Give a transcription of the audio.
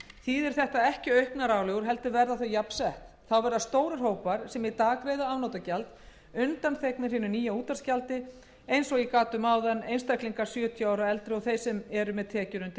þýðir þetta ekki auknar álögur heldur verða þau jafnsett þá verðar stórir hópar sem í dag greiða afnotagjald undanþegnir hinu nýja útvarpsgjaldi til dæmis einstaklingar sjötíu ára og eldri og þeir sem eru með tekjur undir skattleysismörkum